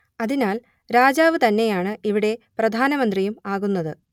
അതിനാൽ രാജാവ് തന്നെയാണ് ഇവിടെ പ്രധാനമന്ത്രിയും ആകുന്നത്